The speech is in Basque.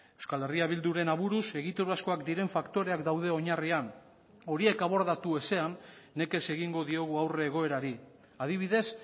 euskal herria bilduren aburuz egiturazkoak diren faktoreak daude oinarrian horiek abordatu ezean nekez egingo diogu aurre egoerari adibidez